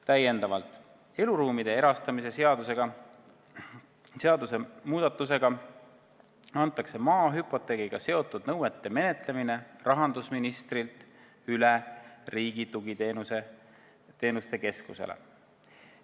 Täiendavalt antakse eluruumide erastamise seaduse muudatusega maa hüpoteegiga seotud nõuete menetlemine rahandusministrilt üle Riigi Tugiteenuste Keskusele.